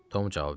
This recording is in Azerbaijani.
Tom cavab verdi.